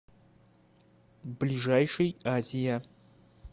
ближайший азия